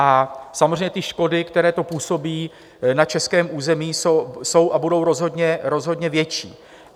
A samozřejmě ty škody, které to působí na českém území, jsou a budou rozhodně větší.